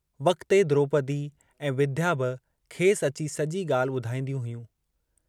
वक़्ते द्रोपदी ऐं विद्या बि खेसि अची सॼी ॻाल्हि ॿुधाईंदियूं हुयूं।